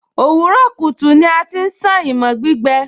òwúrọ̀ kùtù ni a ti ń sán imọ̀ gbígbẹ